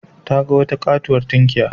Ta ga wata katuwar tunkiya.